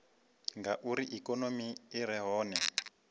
ngauri ikonomi i re hone